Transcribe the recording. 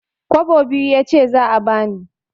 Kwabo biyu yace za a bani.